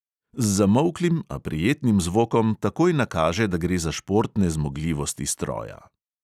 Z zamolklim, a prijetnim zvokom takoj nakaže, da gre za športne zmogljivosti stroja.